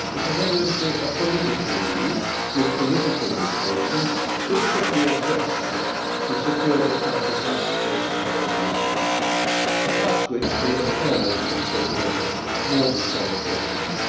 Rights. This was evidently a political move with political motivations basically a gesture to secure that country's ratification of the Lisbon Treaty, about which the aforementioned President was more than somewhat hesitant.